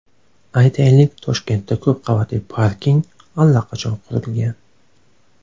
Aytaylik, Toshkentda ko‘p qavatli parking allaqachon qurilgan.